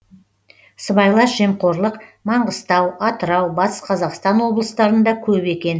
сыбайлас жемқорлық маңғыстау атырау батыс қазақстан облыстарында көп екен